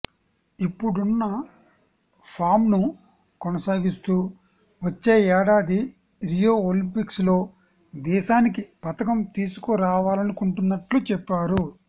ఇప్పుడున్న ఫామ్ను కొనసాగిస్తూ వచ్చే ఏడాది రియో ఒలింపిక్స్లో దేశానికి పతకం తీసుకురావాలనుకుంటున్నట్లు చెప్పారు